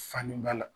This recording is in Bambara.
Fani b'a la